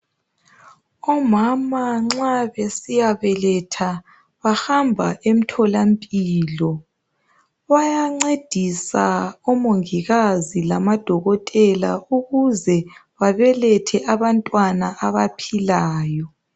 Omama nxa besiyabeletha ,bahamba emtholampilo. Bayancedisa omongikazi lamaDokotela ukuze babelethe abantwana abaphilayo.